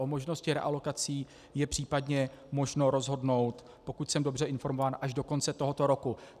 O možnosti realokací je případně možno rozhodnout, pokud jsem dobře informován, až do konce tohoto roku.